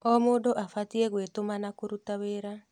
O mũndũ abatiĩ gwĩtũma na kũruta wĩra.